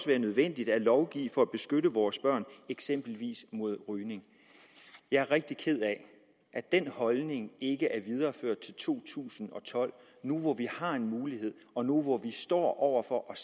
være nødvendigt at lovgive for at beskytte vores børn eksempelvis mod rygning jeg er rigtig ked af at den holdning ikke er videreført til to tusind og tolv nu hvor vi har en mulighed og nu hvor vi står over for at